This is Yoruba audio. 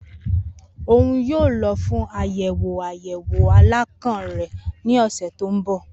Oun yoo lọ fun ayẹwo ayẹwo alakan rẹ ni ọsẹ to nbọ.